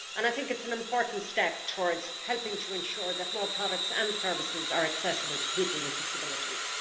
I think it is an important step towards helping to ensure that more products and services are accessible to people with disabilities.